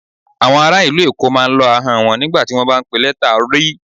Awọn ara ilu Èkó máa ń lọ́ ahọn wọn nigba ti wọn ba n pe lẹta R.